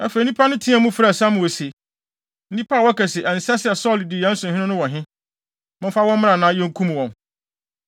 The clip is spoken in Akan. Afei, nnipa no teɛɛ mu frɛɛ Samuel se, “Nnipa a wɔka se ɛnsɛ sɛ Saulo di yɛn so hene no wɔ he? Momfa wɔn mmra na yenkum wɔn.”